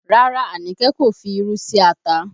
Rárá, Anike kò fi irú sí ata